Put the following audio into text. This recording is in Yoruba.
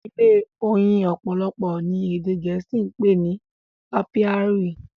ilé oyin opolopo ni ede gèésì pé ní Apairy.